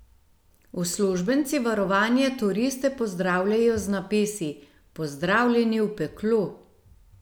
Uslužbenci varovanja turiste pozdravljajo z napisi: 'Pozdravljeni v peklu'.